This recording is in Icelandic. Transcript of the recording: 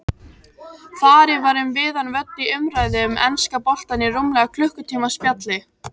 Farið var um víðan völl í umræðu um enska boltann í rúmlega klukkutíma spjalli.